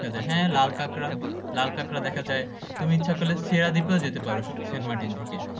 হ্যাঁ লাল কাঁকড়া লাল কাঁকড়া দেখা যায় তুমি ইচ্ছে করলে সেরাদ্বীপ ও যেতে পারো